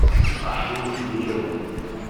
ашур еремин